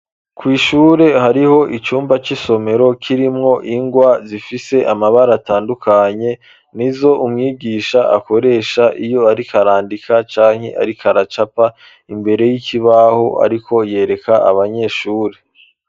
Kw'ishure, hariho icumba, c'isomero, kirimwo ingwa, zifise amabara, atandukanye; ni zo umwigisha, akoresha, iyo ariko arandika, canke ariko aracapa, imbere y'ikibaho, ariko yereka, abanyeshure.